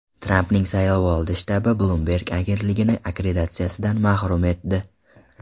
Trampning saylovoldi shtabi Bloomberg agentligini akkreditatsiyadan mahrum etdi.